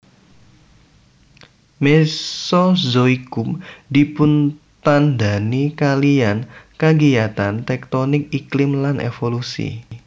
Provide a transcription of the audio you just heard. Mesozoikum dipuntandhani kaliyan kagiyatan tektonik iklim lan evolusi